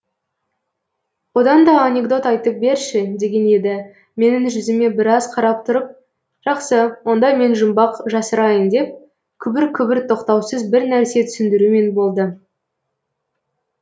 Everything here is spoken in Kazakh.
одан да анекдот айтып берші деген еді менің жүзіме біраз қарап тұрып жақсы онда мен жұмбақ жасырайын деп күбір күбір тоқтаусыз бірнәрсе түсіндірумен болды